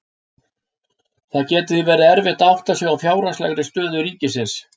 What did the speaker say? Það getur því verið erfitt að átta sig á fjárhagslegri stöðu ríkisins.